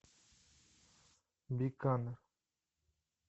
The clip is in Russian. биканер